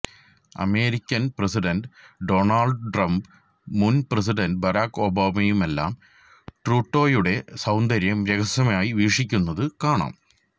American president Donald ട്രംപും മുന് president Barack ഒബാമയുമെല്ലാം ട്രൂഡോയുടെ സൌന്ദര്യം രഹസ്യമായി വീക്ഷിക്കുന്നതു കാണാം